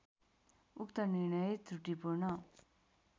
उक्त निर्णय त्रुटिपूर्ण